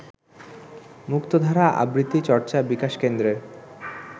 মুক্তধারা আবৃত্তি চর্চা বিকাশ কেন্দ্রের